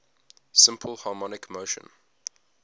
simple harmonic motion